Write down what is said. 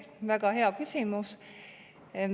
Väga hea küsimus.